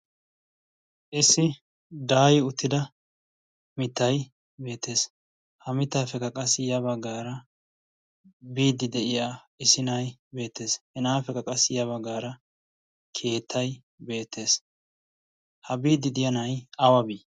issi daayi uttida mittai beettees. ha mittaa peqa qassi yabaa gaara biiddi de7iya isi nai beettees. hena7a feqa qassi yaabaa gaara keettai beettees. ha biiddi diyaa nai awa bii?